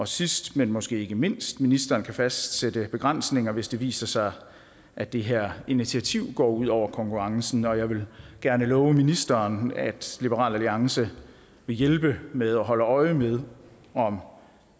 sidst men måske ikke mindst kan ministeren fastsætte begrænsninger hvis det viser sig at det her initiativ går ud over konkurrencen og jeg vil gerne love ministeren at liberal alliance vil hjælpe med at holde øje med om